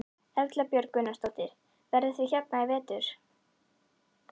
Erla Björg Gunnarsdóttir: Verðið þið hérna í vetur?